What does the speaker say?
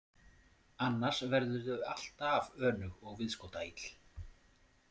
Annars verðurðu alltaf önug og viðskotaill.